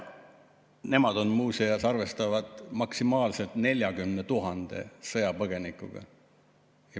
Nemad muuseas arvestavad maksimaalselt 40 000 sõjapõgenikuga.